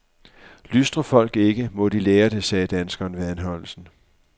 Lystrer folk ikke, må de lære det, sagde danskeren ved anholdelsen.